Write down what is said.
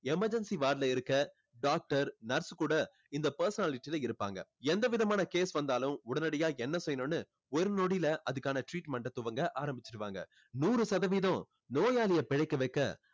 emergency ward ல இருக்க doctor nurse கூட இந்த personality ல இருப்பாங்க. எந்த விதமான case வந்தாலும் உடனடியாக என்ன செய்யணும்னு ஒரு நொடியில் அதுக்கான treatment அ துவங்க ஆரம்பிச்சிடுவாங்க. நூறு சதவீதம் நோயாளியை பிழைக்க வைக்க